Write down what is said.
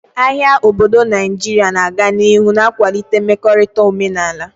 Ahịa obodo Naijiria na-aga n'ihu na-akwalite mmekorita omenala.